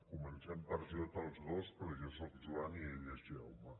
comencem per jota els dos però jo sóc joan i ell és jaume